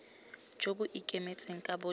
jo bo ikemetseng ka bojona